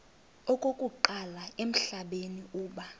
okokuqala emhlabeni uba